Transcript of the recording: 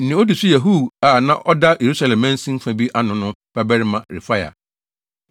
Nea odi so yɛ Hur a na ɔda Yerusalem mansin fa bi ano no no, babarima Refaia.